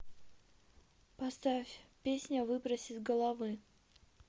поставь песня выбрось из головы